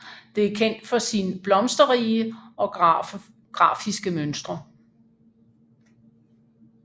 Det er kendt for sin blomsterrige og grafiske mønstre